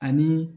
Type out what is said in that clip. Ani